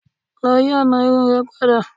Lọ yi ọna irun rẹ pada.